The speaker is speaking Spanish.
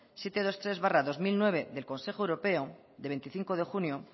setecientos veintitrés barra dos mil nueve de consejo europeo de veinticinco de junio